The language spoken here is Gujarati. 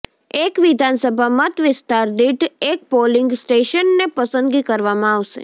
એક વિધાનસભા મતવિસ્તાર દીઠ એક પોલીંગ સ્ટેશનને પસંદગી કરવામાં આવશે